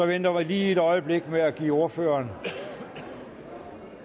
venter lige et øjeblik med at give ordføreren